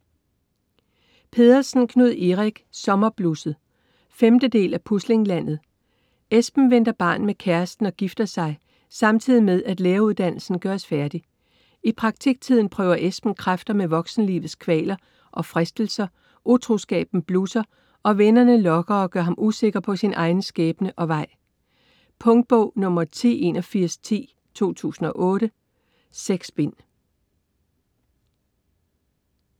Pedersen, Knud Erik: Sommerblusset 5. del af Puslinglandet. Esben venter barn med kæresten og gifter sig, samtidig med at læreruddannelsen gøres færdig. I praktiktiden prøver Esben kræfter med voksenlivets kvaler og fristelser, utroskaben blusser og vennerne lokker og gør ham usikker på sin egen skæbne og vej. Punktbog 108110 2008. 6 bind.